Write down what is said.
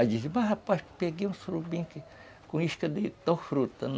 Aí diziam, mas rapaz, peguei um surubim com isca de tal fruta.